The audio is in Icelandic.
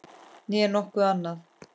Né nokkuð annað.